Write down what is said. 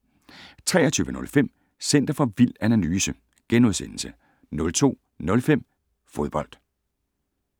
23:05: Center for Vild Analyse * 02:05: Fodbold